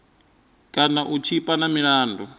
kana u tshipa na milandu